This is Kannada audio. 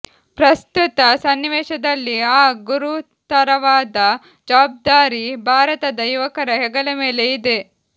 ಪ್ರಸ್ತುತ ಸನ್ನಿವೇಶದಲ್ಲಿ ಆ ಗುರುತರವಾದ ಜವಾಬ್ದಾರಿ ಭಾರತದ ಯುವಕರ ಹೆಗಲಮೇಲೆ ಇದೆ